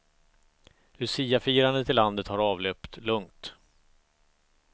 Luciafirandet i landet har avlöpt lugnt.